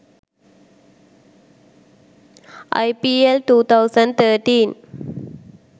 ipl 2013